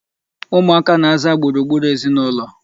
Ụmụaka na-aza gburugburu ezinụlọ.